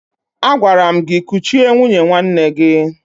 Agwara m gị kuchie nwunye nwanne gị!